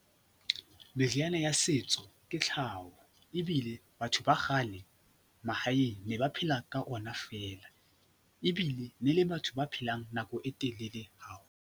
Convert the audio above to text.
Meriana ya setso ke tlhaho ebile batho ba kgale, mahaeng, ne ba phela ka ona feela ebile ne le batho ba phelang nako e telele haholo.